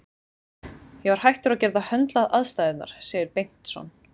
Ég var hættur að geta höndlað aðstæðurnar, segir Bengtsson.